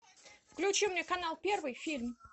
включи мне канал первый фильм